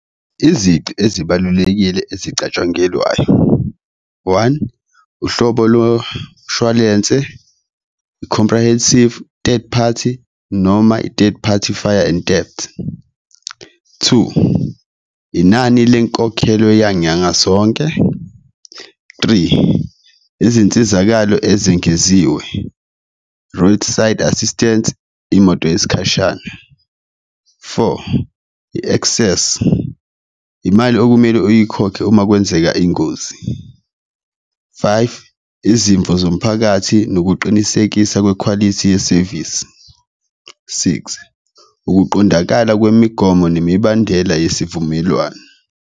Izici ezibalulekile ezicatshangelwayo, one, uhlobo lo mshwalense i-comprehensive third-party noma fire and debt, two, inani lenkokhelo yanyanga zonke, three, izinsizakalo ezingeziwe, roadside assistance, imoto yesikhashana, four, i-access imali okumele uyikhokhe uma kwenzeka ingozi, five, izimvo zomphakathi nokuqinisekisa kwekhwalithi yesevisi, six, ukuqondakala kwemigomo nemibandela yesivumelwano.